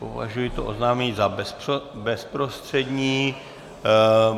Považuji to oznámení za bezprostřední.